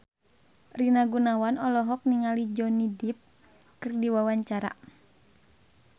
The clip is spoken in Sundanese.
Rina Gunawan olohok ningali Johnny Depp keur diwawancara